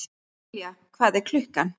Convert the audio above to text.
Julia, hvað er klukkan?